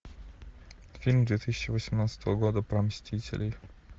фильм две тысячи восемнадцатого года про мстителей